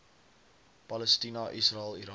palestina israel irak